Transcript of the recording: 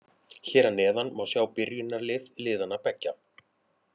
Hér að neðan má sjá byrjunarlið liðanna beggja.